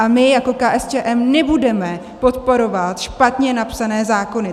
A my jako KSČM nebudeme podporovat špatně napsané zákony!